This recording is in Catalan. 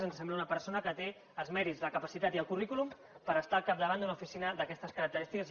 ens sembla que és una persona que té els mèrits la capacitat i el currículum per estar al capdavant d’una oficina d’aquestes característiques